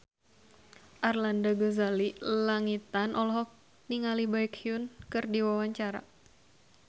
Arlanda Ghazali Langitan olohok ningali Baekhyun keur diwawancara